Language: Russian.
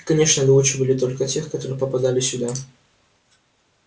и конечно доучивали только тех которые попадали сюда